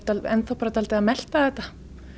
enn þá bara dálítið að melta þetta